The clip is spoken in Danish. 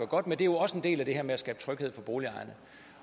godt med det er jo også en del af det her med at skabe tryghed for boligejerne